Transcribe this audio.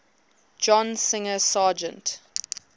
john singer sargent